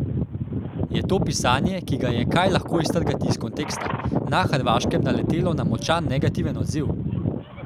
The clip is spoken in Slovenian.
Je to pisanje, ki ga je kaj lahko iztrgati iz konteksta, na hrvaškem naletelo na močan negativen odziv?